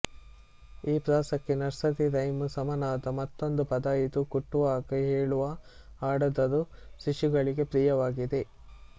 ಈ ಪ್ರಾಸಕ್ಕೆ nursery rhyme ಸಮನಾದ ಮತ್ತೊಂದು ಪದ ಇದು ಕುಟ್ಟುವಾಗ ಹೇಳುವ ಹಾಡಾದರೂ ಶಿಶುಗಳಿಗೆ ಪ್ರಿಯವಾಗಿದೆ